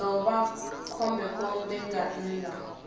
ḓo vha khombekhombe nga nnḓa